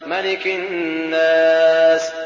مَلِكِ النَّاسِ